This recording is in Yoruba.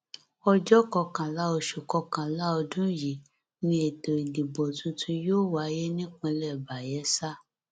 ọjọ kọkànlá oṣù kọkànlá ọdún yìí ni ètò ìdìbò tuntun yóò wáyé nípínlẹ bayela